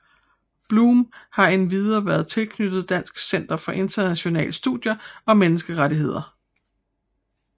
Blum har endvidere været tilknyttet Dansk Center for Internationale Studier og Menneskerettigheder